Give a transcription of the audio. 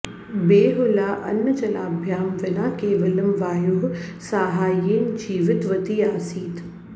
बेहुला अन्नजलाभ्यां विना केवलं वायोः साहाय्येन जीवितवती आसीत्